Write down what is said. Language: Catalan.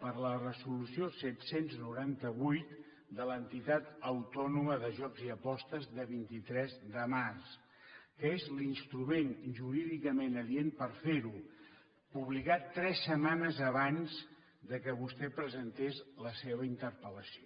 per la resolució set cents i noranta vuit de l’entitat autònoma de jocs i apostes de vint tres de març que és l’instrument jurídicament adient per ferho publicat tres setmanes abans que vostè presentés la seva interpel·lació